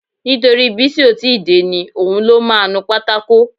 Nítorí Bísí ó ti ì dé ni. Òun ló máa ń nu pátákò